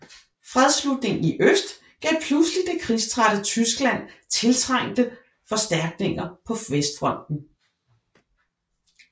Fredsslutningen i øst gav pludselig det krigstrætte Tyskland tiltrængte forstærkninger på Vestfronten